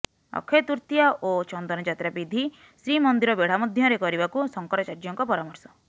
ଅକ୍ଷୟ ତୃତୀୟା ଓ ଚନ୍ଦନଯାତ୍ରା ବିଧି ଶ୍ରୀମନ୍ଦିର ବେଢା ମଧ୍ୟରେ କରିବାକୁ ଶଙ୍କରାଚାର୍ଯ୍ୟଙ୍କ ପରାମର୍ଶ